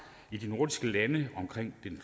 i de nordiske lande omkring den